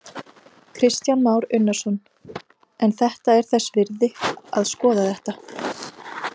Kristján Már Unnarsson: En þetta er þess virði að skoða þetta?